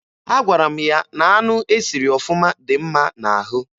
Agwara m ya na anụ e siri ọfụma dị mma n'ahụ.